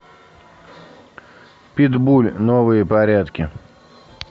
питбуль новые порядки